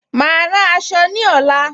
Mà á rán aṣọ ní ọ̀la